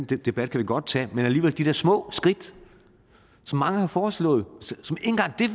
den debat kan vi godt tage men alligevel de der små skridt som mange har foreslået